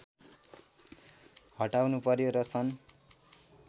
हटाउनु पर्‍यो र सन्